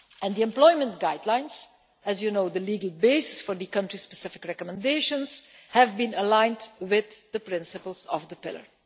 The employment guidelines as you know, the legal basis for the country specific recommendations have been aligned with the principles of the Pillar.